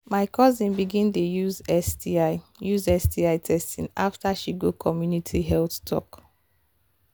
my cousin begin dey use sti use sti testing after she go community health talk.